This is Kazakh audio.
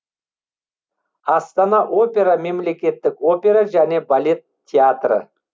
астана опера мемлекеттік опера және балет театры